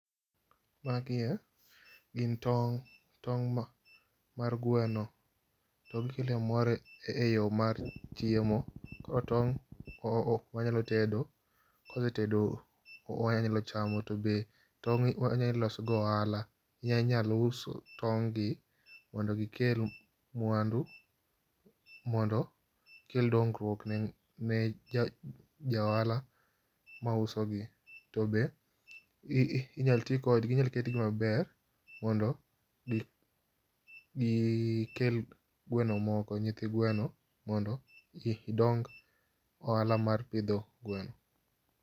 Magie gin tong',tong' ma, mar gweno. To gikelo mor e yoo mar chiemo. Koro tong' ,o, wanyalo tedo, kosetedo wanyalo chamo tobe tong' wanya loso go ohala. Inyalo uso tong' gi mondo gikel mwandu ,mondo gikel dongruok ne ja ohala mauso gi tobe inyal tii kodgi, inyal ketgi maber mondo gikel gweno moko, nyithi gweno mondo gidong ohala mar pidho gweno